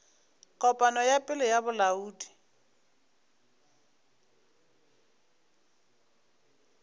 kopano ya pele ya bolaodi